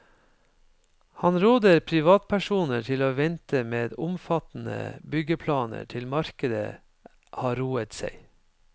Han råder privatpersoner til å vente med omfattende byggeplaner til markedet har roet seg.